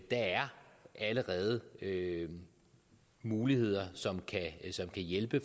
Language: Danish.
der er allerede muligheder som kan hjælpe